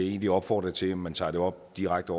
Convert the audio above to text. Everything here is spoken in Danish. egentlig opfordre til at man tager det op direkte